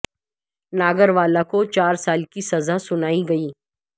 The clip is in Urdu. ناگر والا کو چار سال کی سزا سنائی گئی